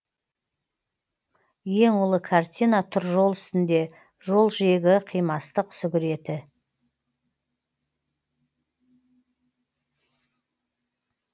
ең ұлы картина тұр жол үстінде жол жиегі қимастық сүгіреті